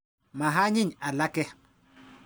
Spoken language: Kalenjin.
Ma anyiny alake.